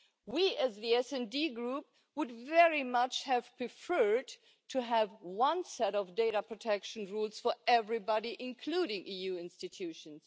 We as the SD Group would very much have preferred to have one set of data protection rules for everybody, including the EU institutions.